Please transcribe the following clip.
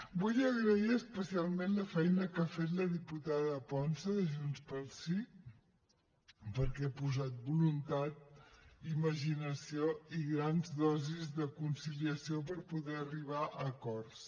vull agrair especialment la feina que ha fet la diputada ponsa de junts pel sí perquè ha posat voluntat imaginació i grans dosis de conciliació per poder arribar a acords